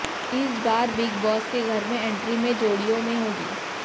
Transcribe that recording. इस बार Bigg Boss के घर में एंट्री में जोड़ियों में होगी